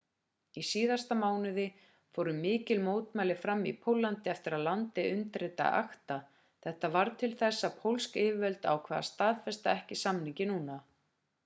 í síðasta mánuði fóru mikil mótmæli fram í póllandi eftir að landið undirritaði acta þetta varð til þess að pólsk yfirvöld ákváðu að staðfesta ekki samninginn núna